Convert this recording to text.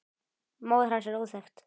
Móðir hans er óþekkt.